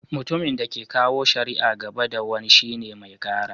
Mutumin da ke kawo shari'a gaba da wani shine "Mai Kara."